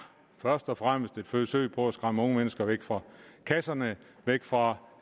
først og fremmest et forsøg på at skræmme unge mennesker væk fra kasserne væk fra